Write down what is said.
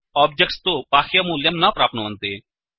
objects तु बाह्यमूल्यं न प्राप्नुवन्ति